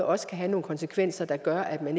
også kan have nogle konsekvenser der gør at man